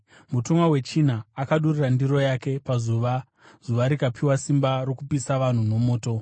Mutumwa wechina akadurura ndiro yake pazuva, zuva rikapiwa simba rokupisa vanhu nomoto.